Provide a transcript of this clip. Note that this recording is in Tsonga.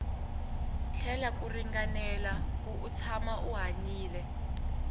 tlela ku ringanela kuri u tshama u hanyile